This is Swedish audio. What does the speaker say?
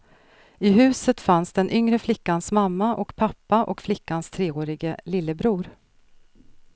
I huset fanns den yngre flickans mamma och pappa och flickans treårige lillebror.